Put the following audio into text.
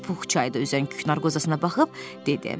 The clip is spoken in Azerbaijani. Pux çayda üzən küknar qozasına baxıb dedi.